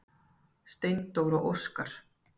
Steindór og Óskar.